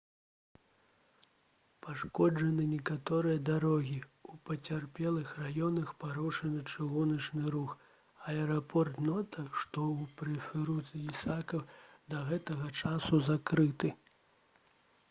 пашкоджаны некаторыя дарогі у пацярпелых раёнах парушаны чыгуначны рух а аэрапорт нота што ў прэфектуры ісікава да гэтага часу закрыты